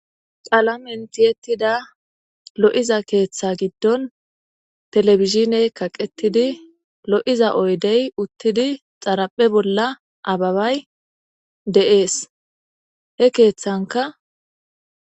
Qalamen thiyeththida lo7iza keeththa giddon thelebizhiney kaqethidi lo7iza oydey uththidi xaraphe bolla ababay de7ees; he keeththankka.